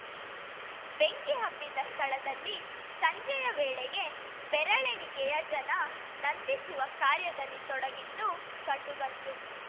ಬೆಂಕಿ ಹಬ್ಬಿದ ಸ್ಥಳದಲ್ಲಿ ಸಂಜೆಯ ವೇಳೆಗೆ ಬೆರಳೆಣಿಕೆಯ ಜನ ನಂದಿಸುವ ಕಾರ್ಯದಲ್ಲಿ ತೊಡಗಿದ್ದು ಕಂಡುಬಂತು